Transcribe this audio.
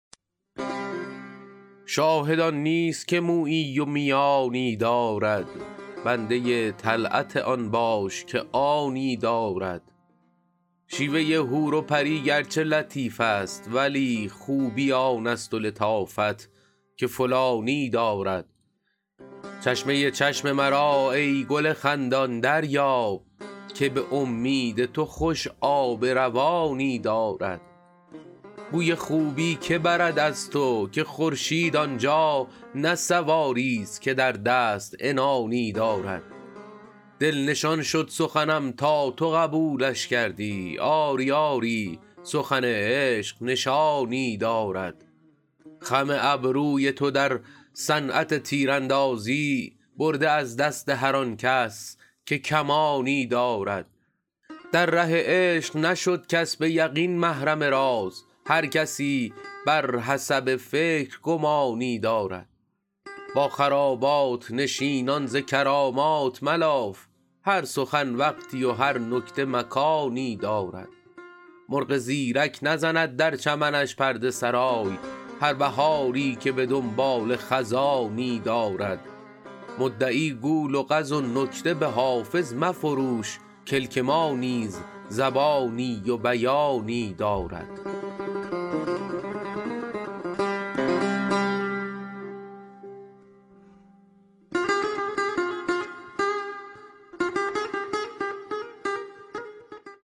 شاهد آن نیست که مویی و میانی دارد بنده طلعت آن باش که آنی دارد شیوه حور و پری گرچه لطیف است ولی خوبی آن است و لطافت که فلانی دارد چشمه چشم مرا ای گل خندان دریاب که به امید تو خوش آب روانی دارد گوی خوبی که برد از تو که خورشید آن جا نه سواریست که در دست عنانی دارد دل نشان شد سخنم تا تو قبولش کردی آری آری سخن عشق نشانی دارد خم ابروی تو در صنعت تیراندازی برده از دست هر آن کس که کمانی دارد در ره عشق نشد کس به یقین محرم راز هر کسی بر حسب فکر گمانی دارد با خرابات نشینان ز کرامات ملاف هر سخن وقتی و هر نکته مکانی دارد مرغ زیرک نزند در چمنش پرده سرای هر بهاری که به دنباله خزانی دارد مدعی گو لغز و نکته به حافظ مفروش کلک ما نیز زبانی و بیانی دارد